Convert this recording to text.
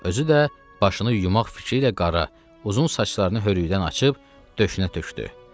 Özü də başını yumaq fikri ilə qara uzun saçlarını hörüydən açıb döşünə tökdü.